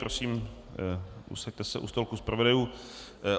Prosím, posaďte se u stolku zpravodajů.